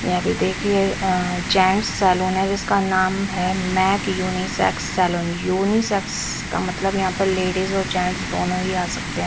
यह भी देखिए आ जेंट्स सैलून है जिसका नाम है मैक यूनिसैक्स सैलून यूनिसैक्स का मतलब यहां पर जेंट्स और लेडीज दोनों ही आ सकते हैं।